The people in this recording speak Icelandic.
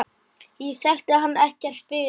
Ég þekkti hann ekkert fyrir.